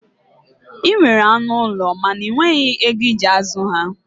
Ị nwere anụ ụlọ mana ị nweghi ego ị ji azụ ha.